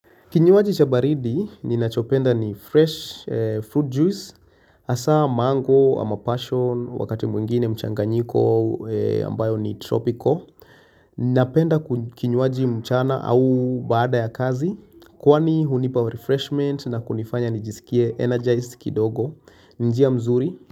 Kinyuaji chabaridi, ninachopenda ni fresh fruit juice, asa mango ama passion wakati mwingine mchanganjiko ambayo ni tropical. Ninapenda kinyuaji mchana au baada ya kazi, kwani hunipa refreshment na kunifanya nijisikie energized kidogo, njia mzuri.